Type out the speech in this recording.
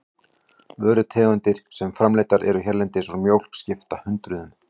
Vörutegundir sem framleiddar eru hérlendis úr mjólk skipta hundruðum.